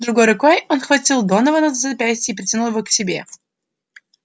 другой рукой он схватил донована за запястье и притянул его к себе